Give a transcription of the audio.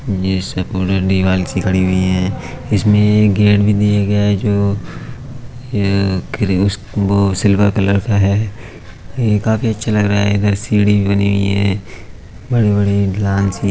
ये सब दीवार सी बनी हुई है| इसमे एक गेट भी दिया गया है जो सिल्वर कलर का है| ये काफी अच्छा लग रहा है| सीढ़ी भी बनी हुई है। बड़े-बड़े--